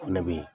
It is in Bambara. O fɛnɛ be yen